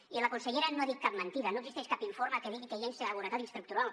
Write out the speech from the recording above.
i la consellera no ha dit cap mentida no existeix cap informe que digui que hi ha inseguretat estructural